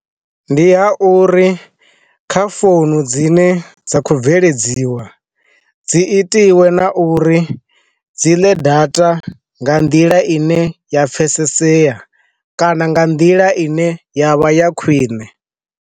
Ndi ha uri kha founu dzine dza kho bveledziwa, dzi itiwe na uri dzi ḽe data nga nḓila ine ya pfesesea kana nga nḓila ine yavha ya khwine.